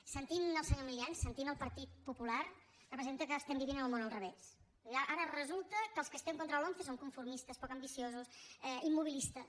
sentint el senyor milián sentint el partit popular representa que estem vivint en el món al revés ara resulta que els que estem contra la lomce som conformistes poc ambiciosos immobilistes